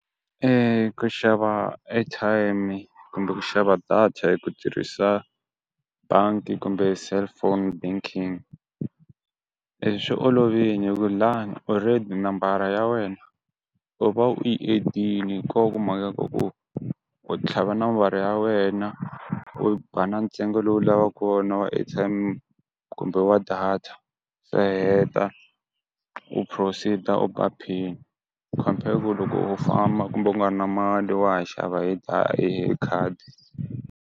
ku xava airtime i kumbe ku xava data hi ku tirhisa bangi kumbe cellphone banking swi olovini hi ku lani already nambara ya wena u va u yi edini ko va ku mhaka ya ko ku u tlhava nambara ya wena u ba na ntsengo lowu lavaku wona wa airtime kumbe wa data se heta u proceed-a u ba pin compare ku loko u famba kumbe u nga ri na mali wa ha xava hi da hi khadi.